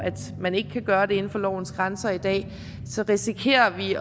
man ikke kan gøre det inden for lovens grænser i dag risikerer vi